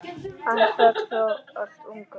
Hann féll frá alltof ungur.